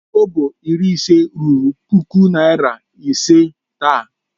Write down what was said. Kobo iri ise ruru puku naira ise taa.